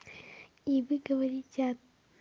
и вы говорите